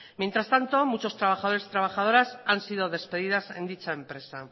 mientras tanto muchos trabajadores y trabajadoras han sido despedidas en dicha empresa